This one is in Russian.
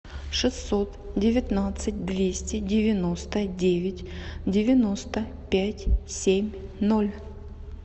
шестьсот девятнадцать двести девяносто девять девяносто пять семь ноль